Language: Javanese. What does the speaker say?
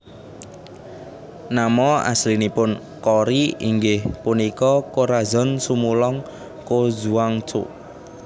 Nama aslinipun Cory inggih punika Corazon Sumulong Cojuangco